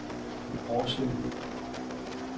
Årslev